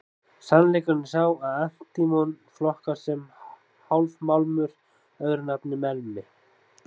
Sannleikurinn er sá að antímon flokkast sem hálfmálmur, öðru nafni melmi.